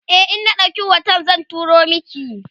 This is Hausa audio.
e in na ɗauki hoton zan turo maki